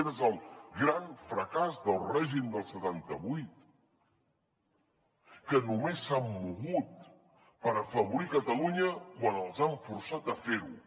aquest és el gran fracàs del règim del setanta vuit que només s’han mogut per afavorir catalunya quan els han forçat a fer ho